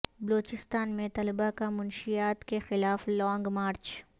بلوچستان میں طلبہ کا منشیات کے خلاف لانگ مارچ